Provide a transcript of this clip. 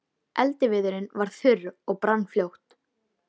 Eldiviðurinn var þurr og brann fljótt.